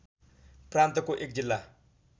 प्रान्तको एक जिल्ला